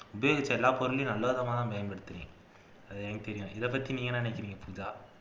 எல்லா பொருளையும் நல்ல விதமாத்தான் பயன்படுத்துவேன் அது எனக்கு தெரியும் இதைப்பத்தி நீங்க என்ன நினைக்கிறீங்க பூஜா